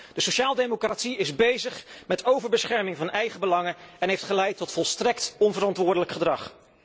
De sociale democratie is bezig met overbescherming van eigen belangen en dat heeft geleid tot volstrekt onverantwoordelijk gedrag.